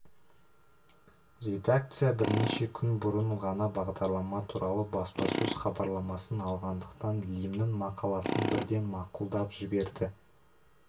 редакция бірнеше күн бұрын ғана бағдарлама туралы баспасөз хабарламасын алғандықтан лимннің мақаласын бірден мақұлдап жіберді